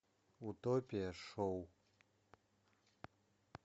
утопия шоу